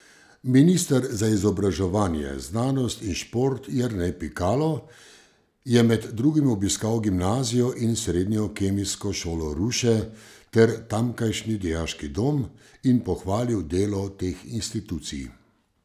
Minister za izobraževanje, znanost in šport Jernej Pikalo je med drugim obiskal Gimnazijo in srednjo kemijsko šolo Ruše ter tamkajšnji dijaški dom in pohvalil delo teh institucij.